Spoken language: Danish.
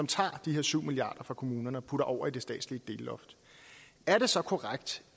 tager de her syv milliarder fra kommunerne og putter dem over i det statslige delloft er det så korrekt